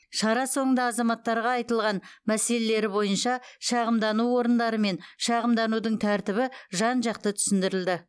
шара соңында азаматтарға айтылған мәселелері бойынша шағымдану орындары мен шағымданудың тәртібі жан жақты түсіндірілді